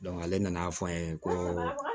ale nan'a fɔ an ye ko